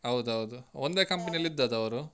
ಹೌದೌದು. ಒಂದೇ company ಅಲ್ಲಿ ಇದದ್ದು ಅವ್ರು.